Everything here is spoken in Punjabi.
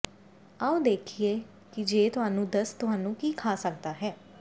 ਆਓ ਦੇਖੀਏ ਕਿ ਜੇ ਤੁਹਾਨੂੰ ਦਸਤ ਤੁਹਾਨੂੰ ਕੀ ਖਾ ਸਕਦਾ ਹੈ